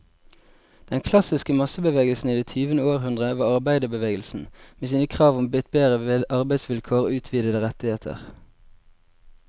Den klassiske massebevegelsen i det tyvende århundre var arbeiderbevegelsen, med sine krav om bedre arbeidsvilkår og utvidede rettigheter.